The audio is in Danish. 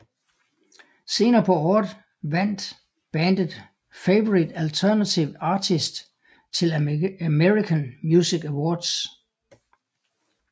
Senere på året vandt bandet Favorite Alternative Artist til American Music Awards